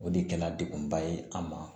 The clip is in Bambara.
O de kɛla degunba ye an ma